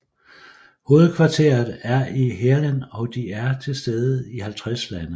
Hovedkvarteret er i Heerlen og de er tilstede i 50 lande